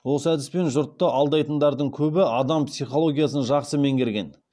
осы әдіспен жұртты алдайтындардың көбі адам психологиясын жақсы меңгерген